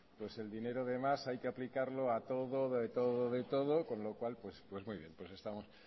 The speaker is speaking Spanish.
el dinero de más hay que aplicarlo a todo de todo de todo con lo cual pues muy bien pues estamos